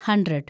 hundred